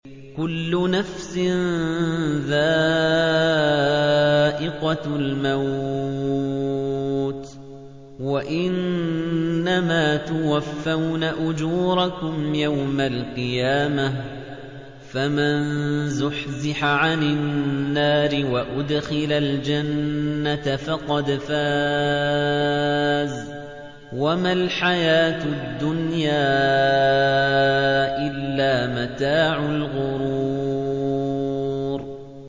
كُلُّ نَفْسٍ ذَائِقَةُ الْمَوْتِ ۗ وَإِنَّمَا تُوَفَّوْنَ أُجُورَكُمْ يَوْمَ الْقِيَامَةِ ۖ فَمَن زُحْزِحَ عَنِ النَّارِ وَأُدْخِلَ الْجَنَّةَ فَقَدْ فَازَ ۗ وَمَا الْحَيَاةُ الدُّنْيَا إِلَّا مَتَاعُ الْغُرُورِ